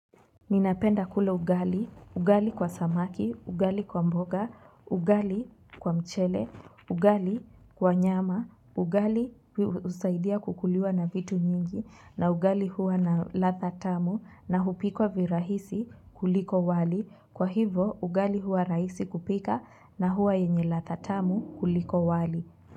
Ninapenda kula ugali, ugali kwa samaki, ugali kwa mboga, ugali kwa mchele, ugali kwa nyama, ugali husaidia kukuliwa na vitu nyingi, na ugali huwa na ladha tamu, na hupikwa virahisi kuliko wali, kwa hivo ugali huwa raisi kupika, na huwa yenye ladha tamu kuliko wali.